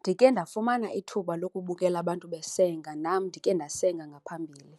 Ndike ndafumana ithuba lokubukela abantu besenga, nam ndike ndasenga ngaphambili.